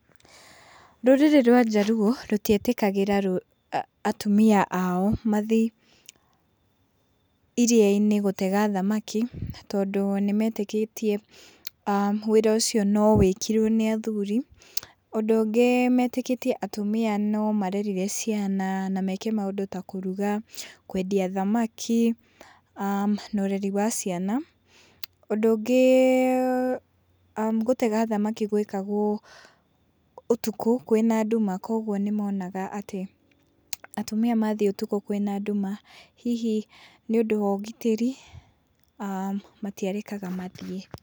Rũrĩrĩ rwa Jaluo rũtietĩkagĩra rũ atumia ao mathiĩ iria-inĩ gũtega thamaki, tondũ nĩ metĩkĩtie , ah wĩra ũcio no wĩkirwo nĩ athuri. ũndũ ũngĩ metĩkĩtie atĩ atumia no marerire ciana an meke maũndũ ta kũruga, kwendia thamaki, aah na ũreri wa ciana. Ũndũ ũngĩ gũtega thamaki gwekagwo ũtukũ, kwĩ na nduma, oguo nĩ monaga atĩ atumia mathiĩ ũtukũ kwĩna nduma, hihi nĩ ũndũ wa ũgitĩri matĩarekaga mathiĩ.